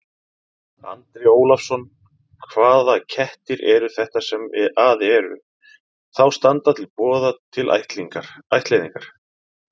Andri Ólafsson: Hvaða kettir eru þetta sem að eru, þá standa til boða til ættleiðingar?